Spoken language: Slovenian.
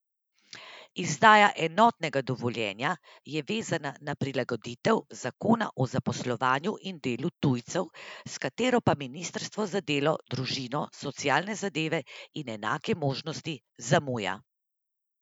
Izdaja enotnega dovoljenja je vezana na prilagoditev zakona o zaposlovanju in delu tujcev, s katero pa ministrstvo za delo, družino, socialne zadeve in enake možnosti zamuja.